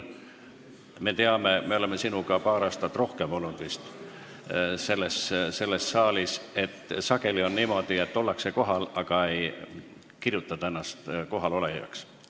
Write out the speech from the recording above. Me oleme sinuga selles saalis olnud rohkem kui paar aastat ja teame, et sageli on niimoodi, et ollakse kohal, aga ei registreerita ennast kohalolijaks.